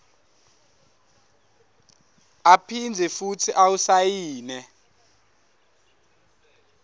aphindze futsi awusayine